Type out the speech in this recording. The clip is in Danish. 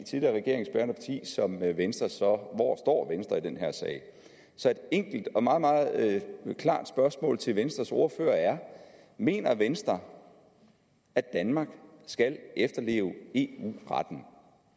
tidligere regeringsbærende parti som venstre så står i den her sag så et enkelt og meget meget klart spørgsmål til venstres ordfører er mener venstre at danmark skal efterleve eu retten